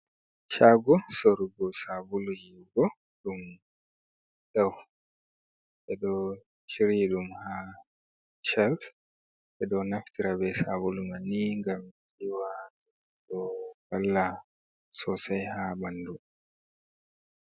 Shago sorugo sabulu yiwugo ɗum Dov. Ɓe ɗo shiryi ɗum ha shelf, ɓe ɗo naftira be sabulu mai ni ngam yiwa, ɗo valla sosai ha ɓandu.